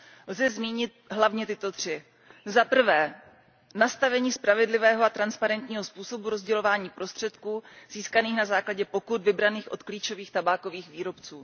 Lze zmínit hlavně tyto tři změny za prvé, nastavení spravedlivého a transparentního způsobu rozdělování prostředků získaných na základě pokut vybraných od klíčových tabákových výrobců.